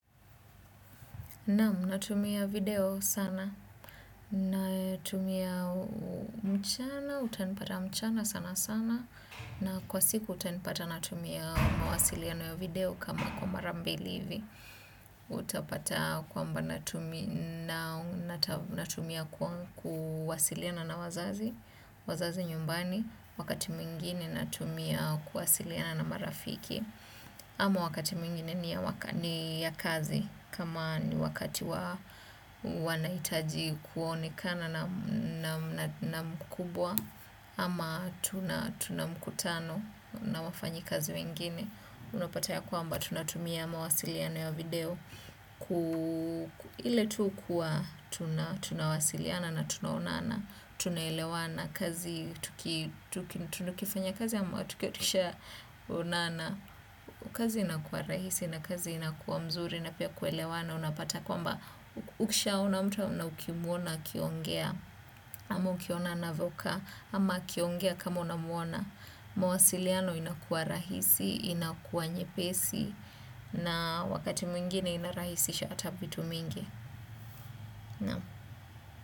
Naam natumia video sana natumia mchana utanpata mchana sanasana na kwa usiku utantapa natumia mawasiliano ya video kama mara mbili hivi. Utapata kwamba natumia kuwasiliana na wazazi, wazazi nyumbani, wakati mwingine natumia kuwasiliana na marafiki. Ama wakati mwingine ni ya kazi kama ni wakati wanaitaji kuonekana na mkubwa ama tuna mkutano na wafanyi kazi wengine. Unopata yakwamba tunatumia mawasiliano ya video. Ile tu kuwa tuna wasiliana na tuna onana. Tuna elewana kazi tunukifanya kazi ama tukiotikisha onana. Ukazi inakuwa rahisi na kazi inakuwa mzuri na pia kuelewana unapata kwamba ukisha ona mutu na ukimuona akiongea ama ukiona anavokaa ama akiongea kama unamuona. Mawasiliano inakuwa rahisi, inakuwa nyepesi na wakati mwingine inarahisisha atavitu mingi.